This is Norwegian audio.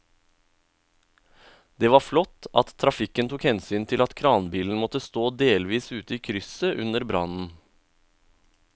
Det var flott at trafikken tok hensyn til at kranbilen måtte stå delvis ute i krysset under brannen.